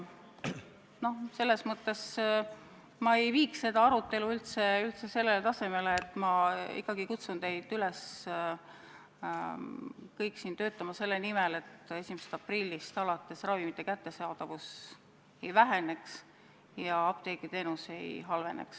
Selles mõttes ma ei viiks seda arutelu üldse sellele tasandile, ma ikkagi kutsun teid kõiki üles töötama selle nimel, et 1. aprillist alates ravimite kättesaadavus ei väheneks ja apteegiteenus ei halveneks.